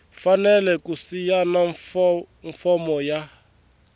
fanele ku sayina fomo ya